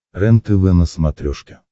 рентв на смотрешке